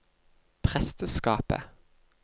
presteskapet